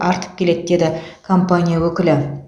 артып келеді деді компания өкілі